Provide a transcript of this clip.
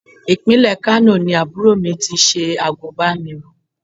Ìpínlẹ̀ Kano ni àbúrò mi ti ṣe àgùnbánirọ̀.